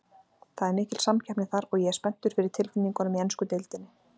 Það er mikil samkeppni þar, og ég er spenntur fyrir tilfinningunum í ensku deildinni.